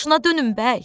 Başına dönüm bəy.